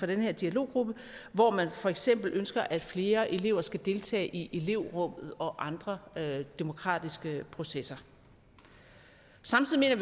den her dialoggruppe hvor man for eksempel ønsker at flere elever skal deltage i elevråd og andre demokratiske processer samtidig